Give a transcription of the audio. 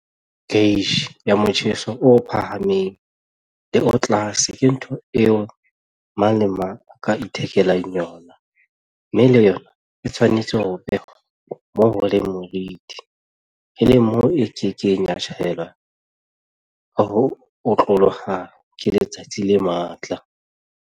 Gauge, selekanyetsi, ya motjheso o phahameng le o tlase ke ntho eo mang le mang a ka ithekelang yona, mme le yona e tshwanetse ho behwa moo ho leng moriti, e leng moo e ke keng ya tjhabelwa ka ho otloloha ke letsatsi le matla.